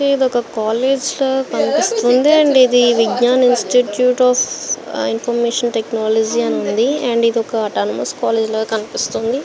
ఏది ఒక కాలేజీ లాగా కనిపిస్తున్నది అండ్ ఇది Vignan institute of information technology అని ఉంది అండ్ ఇది ఒక అటానమస్ కాలేజీ. లా కనిపిస్తుంది.